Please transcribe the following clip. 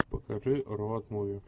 покажи роуд муви